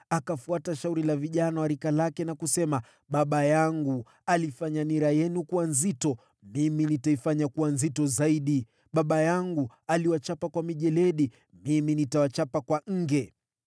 akafuata shauri la vijana wa rika lake na kusema, “Baba yangu alifanya nira yenu kuwa nzito, mimi nitaifanya kuwa nzito zaidi. Baba yangu aliwachapa kwa mijeledi, mimi nitawachapa kwa nge.”